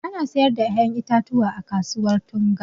Ana sayar da ƴaƴan itatuwa a kasuwar Tunga.